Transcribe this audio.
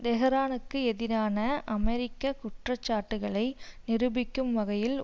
தெஹரானுக்கு எதிரான அமெரிக்க குற்ற சாட்டுக்களை நிரூபிக்கும் வகையில்